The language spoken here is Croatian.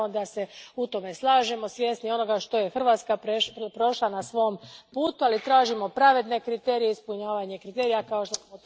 Naravno, da se u tome slažemo, svjesni onoga što je Hrvatska prošla na svom putu, ali tražimo pravedne kriterije i ispunjavanje kriterija, kao što smo to napravili mi.